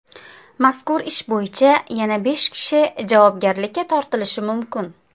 Mazkur ish bo‘yicha yana besh kishi javobgarlikka tortilishi mumkin.